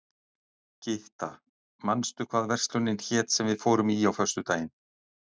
Gytta, manstu hvað verslunin hét sem við fórum í á föstudaginn?